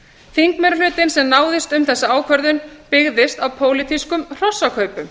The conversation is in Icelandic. þingmeirihlutinn sem náðist um þessa ákvörðun byggðist á pólitískum hrossakaupum